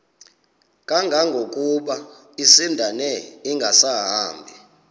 kangangokuba isindane ingasahambi